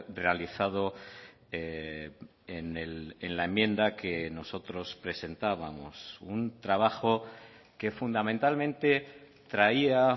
realizado en la enmienda que nosotros presentábamos un trabajo que fundamentalmente traía